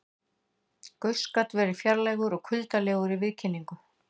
Gauss gat verið fjarlægur og kuldalegur í viðkynningu.